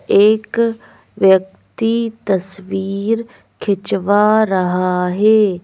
एक व्यक्ति तस्वीर खिंचवा रहा है।